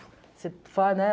Você faz, né?